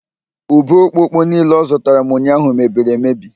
Ube okpoko niile ọ zụtara m ụnyaahụ mebiriri emebi